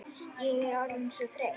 Ég er orðin svo þreytt.